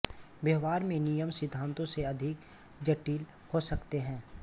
व्यवहार में नियम सिद्धांतों से अधिक जटिल हो सकते हैं